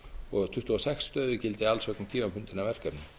og tuttugu og sex stöðugildi alls vegna tímabundinna verkefni